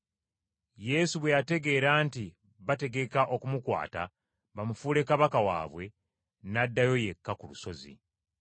Yesu bwe yategeera nti bategeka okumukwata bamufuule kabaka waabwe n’addayo yekka ku lusozi.